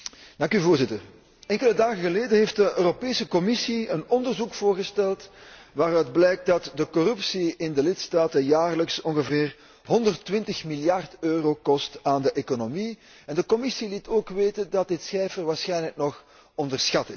Voorzitter, enkele dagen geleden heeft de Europese Commissie een onderzoek voorgesteld waaruit blijkt dat de corruptie in de lidstaten jaarlijks ongeveer 120 miljard euro kost aan de economie, en de Commissie liet ook weten dat dit cijfer waarschijnlijk nog onderschat is.